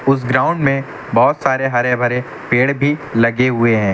उस ग्राउंड में बहुत सारे हरे भरे पेड़ भी लगे हुए हैं।